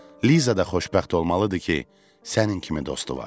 Liza da xoşbəxt olmalıdır ki, sənin kimi dostu var.